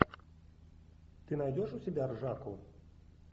ты найдешь у себя ржаку